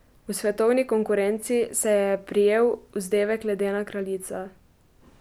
V svetovni konkurenci se je je prijel vzdevek ledena kraljica.